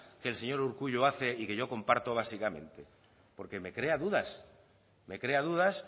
que el señor urkullu hace y que yo comparto básicamente porque me crea dudas me crea dudas